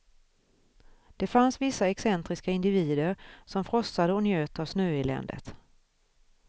Det fanns vissa excentriska individer som frossade och njöt av snöeländet.